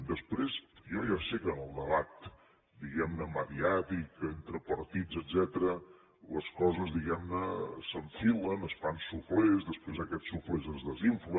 després jo ja sé que en el debat diguem ne mediàtic entre partits etcètera les coses diguem ne s’enfilen es fan suflés després aquests suflés es desinflen